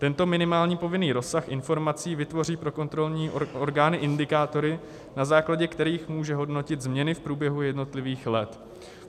Tento minimální povinný rozsah informací vytvoří pro kontrolní orgány indikátory, na základě kterých může hodnotit změny v průběhu jednotlivých let.